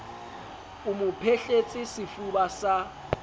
o mo phehletse sefuba sa